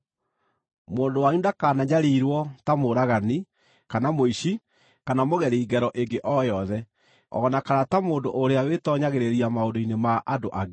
Mũndũ wanyu ndakananyariirwo ta mũũragani, kana mũici, kana mũgeri ngero ĩngĩ o yothe, o na kana ta mũndũ ũrĩa wĩtoonyagĩrĩria maũndũ-inĩ ma andũ angĩ.